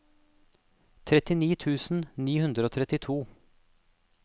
trettini tusen ni hundre og trettito